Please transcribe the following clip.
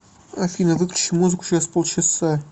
афина выключи музыку через полчаса